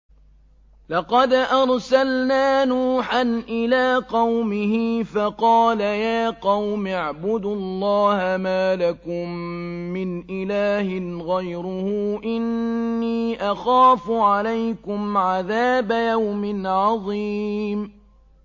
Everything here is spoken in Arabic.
لَقَدْ أَرْسَلْنَا نُوحًا إِلَىٰ قَوْمِهِ فَقَالَ يَا قَوْمِ اعْبُدُوا اللَّهَ مَا لَكُم مِّنْ إِلَٰهٍ غَيْرُهُ إِنِّي أَخَافُ عَلَيْكُمْ عَذَابَ يَوْمٍ عَظِيمٍ